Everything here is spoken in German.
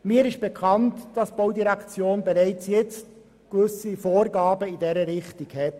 Mir ist bekannt, dass die BVE bereits jetzt gewisse Vorgaben in diese Richtung macht.